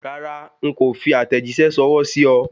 Rárá, n kò fi àtẹ̀jíṣẹ́ ṣọwọ́ sí o